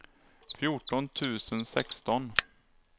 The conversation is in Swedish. fjorton tusen sexton